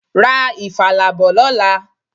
Ra ifala bọ̀ lọ́la.